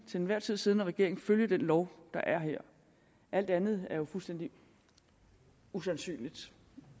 til enhver tid siddende regering følge den lov der er her alt andet er jo fuldstændig usandsynligt